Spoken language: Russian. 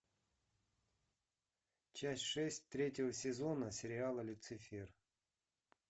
часть шесть третьего сезона сериала люцифер